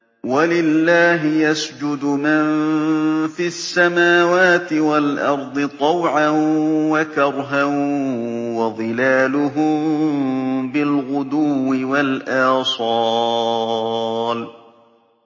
وَلِلَّهِ يَسْجُدُ مَن فِي السَّمَاوَاتِ وَالْأَرْضِ طَوْعًا وَكَرْهًا وَظِلَالُهُم بِالْغُدُوِّ وَالْآصَالِ ۩